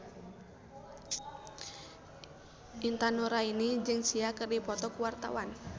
Intan Nuraini jeung Sia keur dipoto ku wartawan